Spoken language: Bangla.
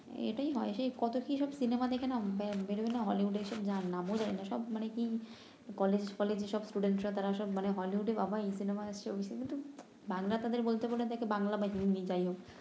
এটাই হয় সেই কত কি সিনেমা দেখে না বেরোয় না হলিউডে এসে যার নাম ও জানি না সব মানে কি কলেজ ফলেজ এসব রা তারা সব মানে হলিউডে বাবা এই সিনেমা আসছে ঐ সিনেমা বাংলা তাদের বলতে বললে বাংলা বা হিন্দি যাই হোক